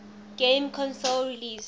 game console released